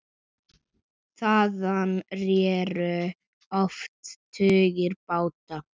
Þaðan réru oft tugir báta.